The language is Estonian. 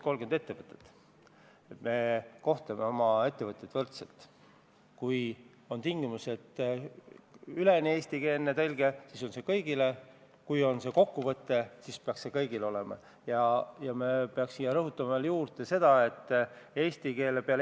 a 9. septembril, et võtta Eesti õigusesse üle Euroopa Liidu direktiivid, mille eesmärk on ajakohastada ja ühtlustada reisilaevade ohutusnõudeid, parandada reisijate ja laevapere ohutust ning päästevõimalusi reisilaevadel.